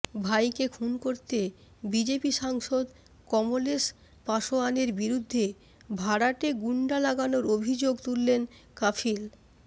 ভাইকে খুন করতে বিজেপি সাংসদ কমলেশ পাসোয়ানের বিরুদ্ধে ভাড়াটে গুন্ডা লাগানোর অভিযোগ তুললেন কাফিল